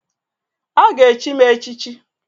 A ga- echi m echichi.